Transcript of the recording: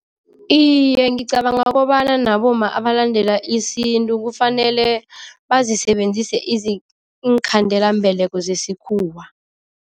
Iye, ngicabanga kobana nabomma abalandela isintu kufanele bazisebenzise iinkhandelambeleko zesikhuwa.